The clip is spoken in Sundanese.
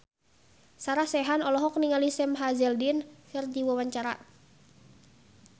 Sarah Sechan olohok ningali Sam Hazeldine keur diwawancara